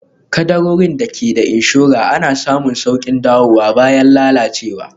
Kaddarorin da ke da inshora ana samun sauƙin dawowa bayan lalacewa